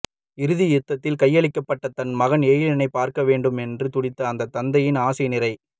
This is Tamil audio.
இறுதி யுத்தத்தில் கையளிக்கப்பட்ட தன் மகன் எழிலனை பார்க்க வேண்டும் என்று துடித்த அந்த தந்தையின் ஆசை நிறை